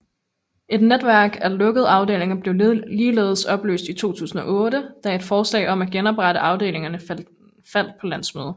Et netværk af lukkede afdelinger blev ligeledes opløst i 2008 da et forslag om at genoprette afdelingerne faldt på landsmødet